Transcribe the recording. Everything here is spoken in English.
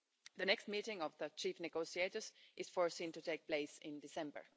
The next meeting of the chief negotiators is foreseen to take place in December.